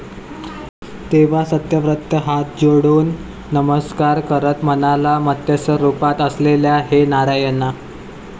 तेव्हा सत्यव्रत हात जोडून नमस्कार करत म्हणाला, मत्स्यरुपात असलेल्या हे नारायणा!'